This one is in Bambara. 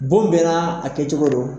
Bon bɛ na kɛ cogo don.